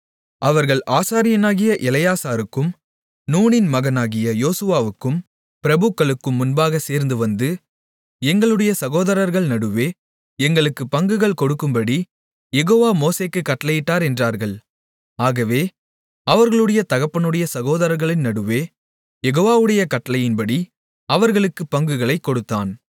அவர்கள் ஆசாரியனாகிய எலெயாசாருக்கும் நூனின் மகனாகிய யோசுவாவுக்கும் பிரபுக்களுக்கும் முன்பாகச் சேர்ந்துவந்து எங்களுடைய சகோதரர்கள் நடுவே எங்களுக்குப் பங்குகள் கொடுக்கும்படி யெகோவா மோசேக்குக் கட்டளையிட்டார் என்றார்கள் ஆகவே அவர்களுடைய தகப்பனுடைய சகோதரர்களின் நடுவே யெகோவாவுடைய கட்டளையின்படி அவர்களுக்குப் பங்குகளைக் கொடுத்தான்